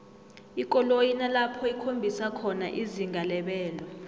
ikoloyi inalapho ikhombisa khona izinga lebelo